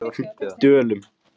Dölum